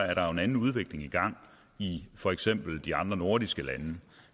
at der er en anden udvikling i gang i for eksempel de andre nordiske lande